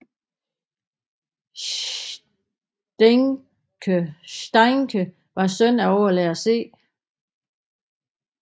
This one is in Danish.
Steincke var søn af overlærer C